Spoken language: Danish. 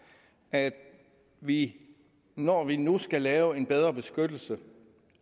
at vi når vi nu skal lave en bedre beskyttelse